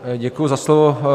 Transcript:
Děkuji za slovo.